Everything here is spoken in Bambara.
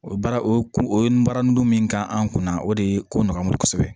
O baara o kun o ye n baara ndomin kan an kunna o de ye ko nɔgɔ an bolo kosɛbɛ